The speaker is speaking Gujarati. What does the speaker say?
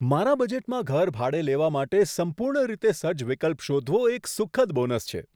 મારા બજેટમાં ઘર ભાડે લેવા માટે સંપૂર્ણ રીતે સજ્જ વિકલ્પ શોધવો, એ એક સુખદ બોનસ છે.